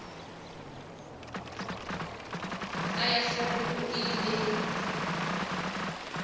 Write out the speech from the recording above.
ka ya sepoko e ile